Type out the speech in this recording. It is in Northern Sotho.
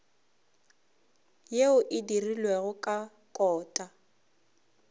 yeo e dirilwego ka kota